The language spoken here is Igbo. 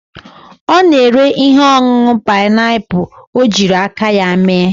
O na-ere ihe onunu pineapple o jiri aka ya mee.